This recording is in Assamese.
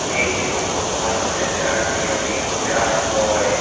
এই ফটো খন এটা জিৰণী কোঠা হয়।